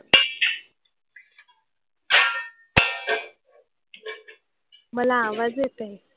मला आवाज येतोय.